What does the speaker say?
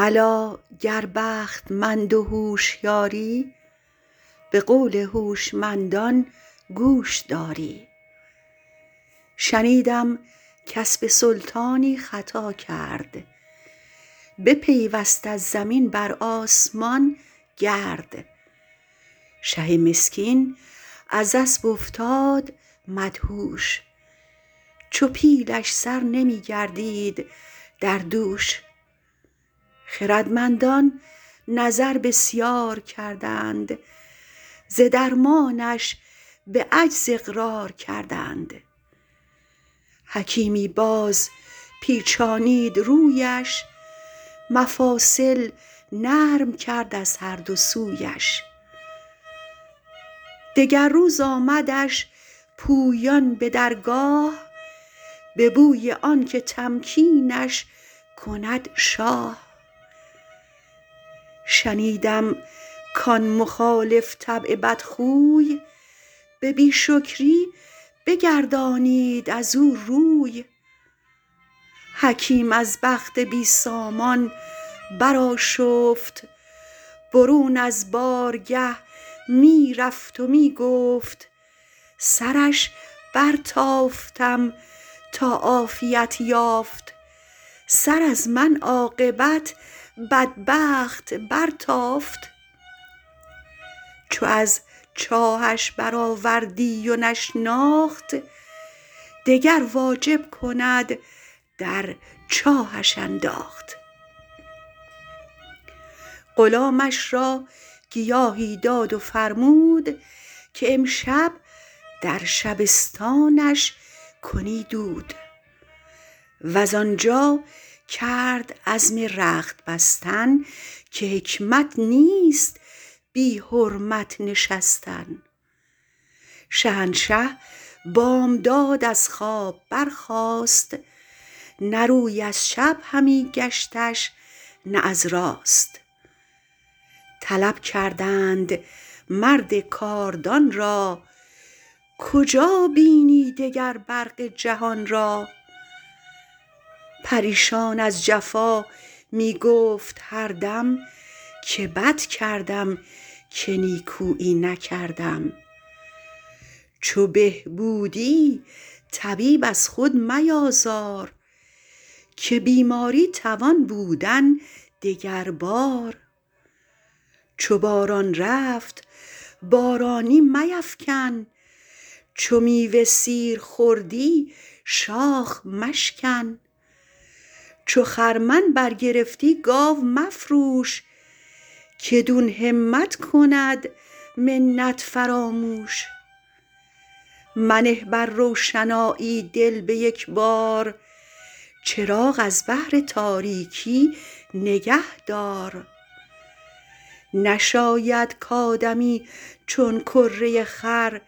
الا گر بختمند و هوشیاری به قول هوشمندان گوش داری شنیدم کاسب سلطانی خطا کرد بپیوست از زمین بر آسمان گرد شه مسکین از اسب افتاد مدهوش چو پیلش سر نمی گردید در دوش خردمندان نظر بسیار کردند ز درمانش به عجز اقرار کردند حکیمی باز پیچانید رویش مفاصل نرم کرد از هر دو سویش دگر روز آمدش پویان به درگاه به بوی آنکه تمکینش کند شاه شنیدم کان مخالف طبع بد خو ی به بی شکری بگردانید از او روی حکیم از بخت بی سامان برآشفت برون از بارگه می رفت و می گفت سرش برتافتم تا عافیت یافت سر از من عاقبت بدبخت برتافت چو از چاهش برآوردی و نشناخت دگر واجب کند در چاهش انداخت غلامش را گیاهی داد و فرمود کهامشب در شبستانش کنی دود وز آنجا کرد عزم رخت بستن که حکمت نیست بی حرمت نشستن شهنشه بامداد از خواب برخاست نه روی از چپ همی گشتش نه از راست طلب کردند مرد کاردان را کجا بینی دگر برق جهان را پریشان از جفا می گفت هر دم که بد کردم که نیکویی نکردم چو به بودی طبیب از خود میازار که بیماری توان بودن دگر بار چو باران رفت بارانی میفکن چو میوه سیر خوردی شاخ مشکن چو خرمن برگرفتی گاو مفروش که دون همت کند منت فراموش منه بر روشنایی دل به یک بار چراغ از بهر تاریکی نگه دار نشاید کآدمی چون کره خر